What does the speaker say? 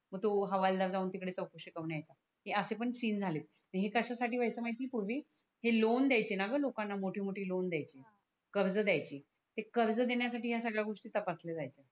मग तो हवालदार जाऊन तिकडे चौकसी करून याचा हे असे पण सीन झाले हे कश्या साठी व्हायचं माहिती आहे पूर्वी हे लोन द्यायचे णा ग लोकाना मोठे मोठे लोन दयाचे कर्ज दयाचे ते कर्ज देण्यासाठी हया सगळ्या गोष्टी तपसल्या जायच